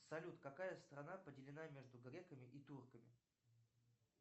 салют какая страна поделена между греками и турками